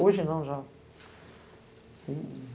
Hoje não, já.